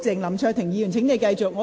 林卓廷議員，請你繼續發言。